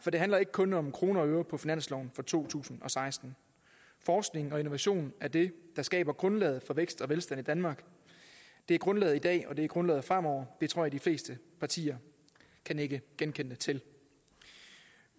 for det handler ikke kun om kroner og øre på finansloven for to tusind og seksten forskning og innovation er det der skaber grundlaget for vækst og velstand i danmark det er grundlaget i dag og det er grundlaget fremover det tror jeg de fleste partier kan nikke genkendende til